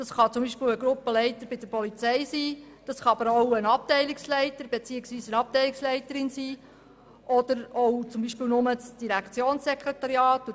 Das kann zum Beispiel ein Gruppenleiter bei der Polizei sein, aber auch eine Abteilungsleiterin oder das Direktionssekretariat.